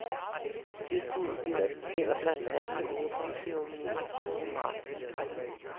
Tilbudet gælder blandt andet åbningsceremonien tredje marts.